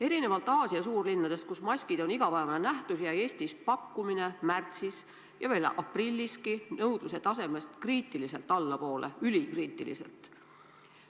Erinevalt Aasia suurlinnadest, kus maskid on igapäevane nähtus, jäi Eestis pakkumine märtsis ja veel aprilliski nõudluse tasemest kriitiliselt allapoole, isegi ülikriitiliselt.